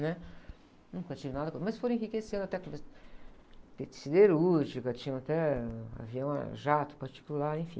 né? Nunca tive nada com, mas foram enriquecendo até com, teve siderúrgica, tinha até avião, jato particular, enfim.